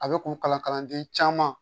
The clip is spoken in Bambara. A bɛ kun kalanden caman